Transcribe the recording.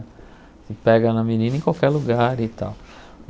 Você pega na menina em qualquer lugar e tal.